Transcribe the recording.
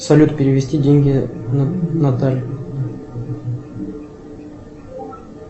салют перевести деньги наталье